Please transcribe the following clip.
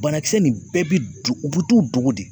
Banakisɛ nin bɛɛ bi do u bu t'u dogo de.